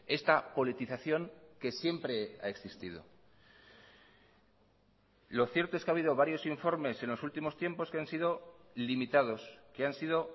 esta politización que siempre ha existido lo cierto es que ha habido varios informes en los últimos tiempos que han sido limitados que han sido